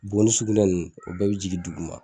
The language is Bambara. Bo ni sugunɛ nunnu o bɛɛ bi jigin duguma